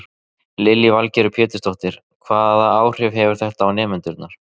Lillý Valgerður Pétursdóttir: Hvaða áhrif hefur þetta á nemendurna?